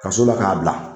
Ka sɔrɔla k'a bila